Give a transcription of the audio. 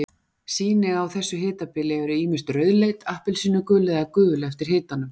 Sýni á þessu hitabili eru ýmist rauðleit, appelsínugul eða gul eftir hitanum.